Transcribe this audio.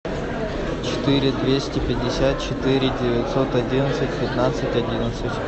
четыре двести пятьдесят четыре девятьсот одиннадцать пятнадцать одиннадцать